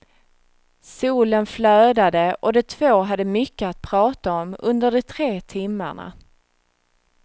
Solen flödade och de två hade mycket att prata om under de tre timmarna.